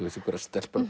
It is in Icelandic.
einhverjar stelpur